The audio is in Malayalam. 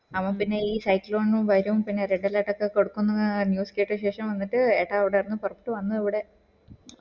അവൻ പിന്നെ ഈ വരും പിന്നെ red alert കൊടുക്കും ന്ന് അറിഞ്ഞ് സ്കേട്ട ശേഷം വന്നിട്ട് ഏട്ട ഉടെ പൊറത്ത് വന്നു കൂടെ